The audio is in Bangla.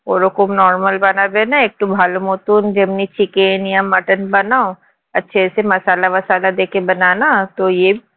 ওরকম normal বানাবে না একটু ভালো মতো যেমন চিকেন বা মটন বানাও